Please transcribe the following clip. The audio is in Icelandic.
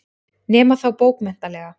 Nema þá bókmenntalega.